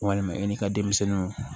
Walima i n'i ka denmisɛnninw